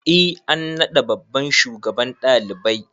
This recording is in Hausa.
E an naɗa babban shugaban ɗalibai.